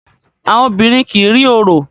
Obìrin kí rí òrò.